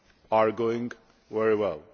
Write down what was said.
are going very well.